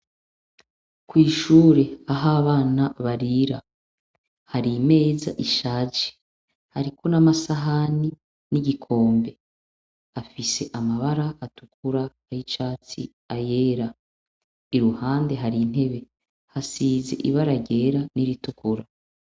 Kw' ishure, ah' abana barira, har' imez' ishaje hariko n' amasahani n' igikombe afise amabar' atukura n' icatsi na yera, iruhande har' intebe hasiz' ibara ryera n’iritukura.